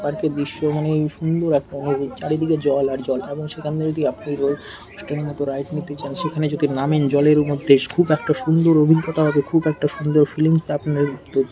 park -এর দৃশ্য মানে এই সুন্দর একটা মানে চারিদিকে জল আর জল এবং সেখান দিয়ে যদি আপনি র মতো রাইড নিতে চান সেখানে যদি নামেন জলের মধ্যে খুব সুন্দর একটা অভিজ্ঞতা হবে খুব একটা সুন্দর ফিলিংস আপনার হ--